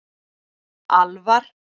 Alvar